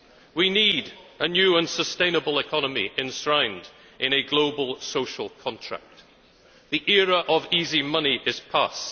We need a new and sustainable economy enshrined in a global social contract. The era of easy money is past.